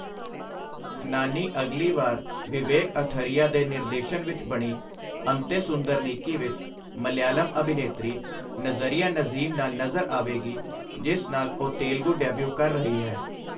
ਨਾਨੀ ਅਗਲੀ ਵਾਰ ਵਿਵੇਕ ਅਥਰਿਆ ਦੇ ਨਿਰਦੇਸ਼ਨ ਵਿੱਚ ਬਣੀ 'ਅੰਤੇ ਸੁੰਦਰਨੀਕੀ' ਵਿੱਚ ਮਲਿਆਲਮ ਅਭਿਨੇਤਰੀ ਨਜ਼ਰੀਆ ਨਜ਼ੀਮ ਨਾਲ ਨਜ਼ਰ ਆਵੇਗੀ, ਜਿਸ ਨਾਲ ਉਹ ਤੇਲਗੂ ਡੈਬਿਊ ਕਰ ਰਹੀ ਹੈ।